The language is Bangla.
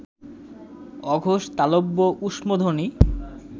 অঘোষ তালব্য ঊষ্মধ্বনি